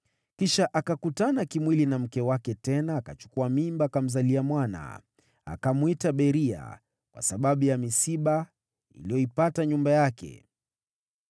Kisha akakutana kimwili na mke wake tena, naye akachukua mimba, akamzalia mwana. Akamwita Beria, kwa sababu ya misiba iliyoipata nyumba yake.